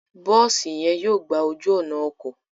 Bosi yen yóò gbà ojú ònà ọkọ